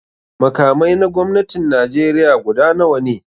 Makamai na gwamnatin Najeriya guda nawa ne?